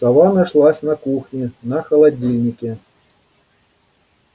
сова нашлась на кухне на холодильнике